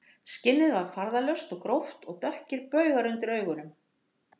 Skinnið var farðalaust og gróft og dökkir baugar undir augunum